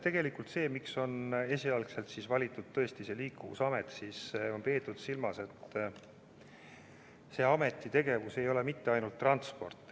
Tegelikult põhjus, miks esialgselt on valitud see Liikuvusameti nimi, on see, et on peetud silmas, et selle ameti tegevus ei piirdu ainult transpordiga.